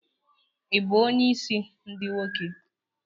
Ị bụ onye isi ndi nwoke?